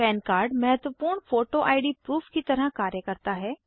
पन कार्ड महत्वपूर्ण photo ID proof की तरह कार्य करता है